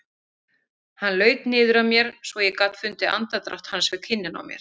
Hann laut niður að mér svo ég gat fundið andardrátt hans við kinnina á mér.